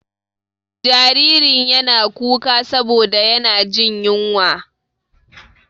Jaririn yana kuka saboda yana jin ƴunwa.